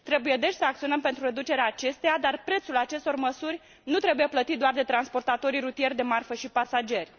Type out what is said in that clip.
Trebuie deci să acționăm pentru reducerea acesteia, dar prețul acestor măsuri nu trebuie plătit doar de transportatorii rutieri de marfă și pasageri.